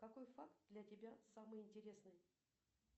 какой факт для тебя самый интересный